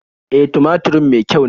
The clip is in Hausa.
E, tumaturin me kyau ne.